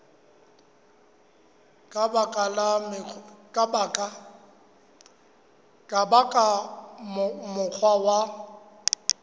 ka ba ka mokgwa wa